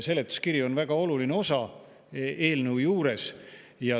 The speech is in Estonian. Seletuskiri on väga oluline eelnõu juures.